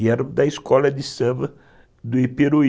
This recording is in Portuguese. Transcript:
E eram da Escola de Samba do Iperuí.